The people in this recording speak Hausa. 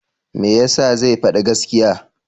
Me ya sa zai faɗi gaskiya?